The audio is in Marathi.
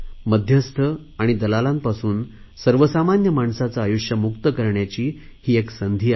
मध्यस्थ आणि दलालांपासून सर्वसामान्य माणसांचे आयुष्य मुक्त करण्याची ही एक संधी आहे